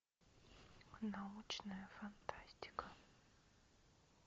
научная фантастика